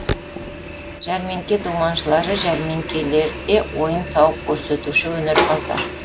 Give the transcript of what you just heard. жәрмеңке думаншылары жәрмеңкелерде ойын сауық көрсетуші өнерпаздар